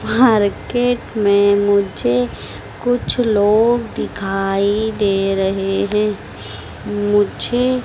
market में मुझे कुछ लोग दिखाई दे रहे हैं मुझे--